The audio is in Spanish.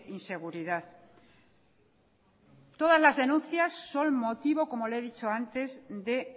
inseguridad todas las denuncias son motivo como le he dicho antes de